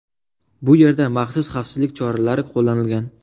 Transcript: Bu yerda maxsus xavfsizlik choralari qo‘llanilgan.